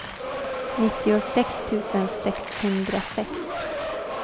nittiosex tusen sexhundrasex